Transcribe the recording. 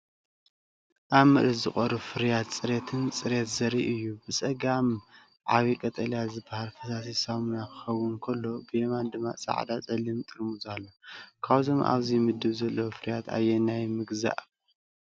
ኣብ ምርኢት ዝቐርቡ ፍርያት ጽሬትን ጽሬትን ዘርኢ እዩ። ብጸጋም ዓቢ ቀጠልያ ዝበሃል ፈሳሲ ሳሙና ክኸውን ከሎ፡ ብየማን ድማ ጻዕዳን ጸሊምን ጥርሙዝ ኣሎ። ካብዞም ኣብዚ ምድብ ዘለዉ ፍርያት ኣየናይ ምገዛእካ?